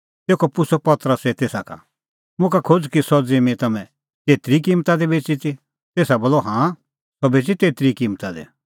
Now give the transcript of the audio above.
तेखअ पुछ़अ पतरसै तेसा का मुखा खोज़ कि सह ज़िम्मीं तम्हैं तेतरी ई किम्मता दी बेच़ी ती तेसा बोलअ हाँ सह बेच़ी तेतरी ई किम्मता दी